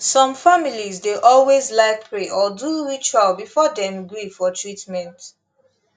some families dey always like pray or do ritual before dem gree for treatment